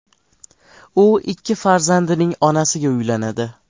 U ikki farzandining onasiga uylanadi.